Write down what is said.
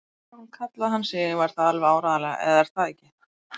Barón kallaði hann sig og var það alveg áreiðanlega, eða er það ekki?